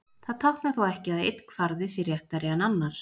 Það táknar þó ekki að einn kvarði sé réttari en annar.